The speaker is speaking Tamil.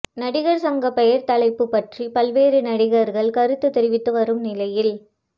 நடிகர் சங்கப் பெயர் தலைப்புப் பற்றி பல்வேறு நடிகர்கள் கருத்து தெரிவித்து வரும் நிலையில்